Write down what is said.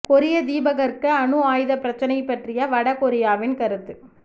கொரிய தீபகற்ப அணு ஆயுதப் பிரச்சினை பற்றிய வட கொரியாவின் கருத்து